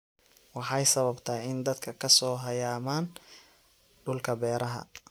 Waxay sababtaa in dadka ka soo hayaamaan dhulka beeraha.